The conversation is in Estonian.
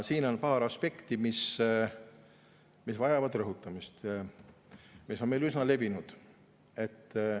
Siin on paar aspekti, mis vajavad rõhutamist ja mis on meil üsna levinud.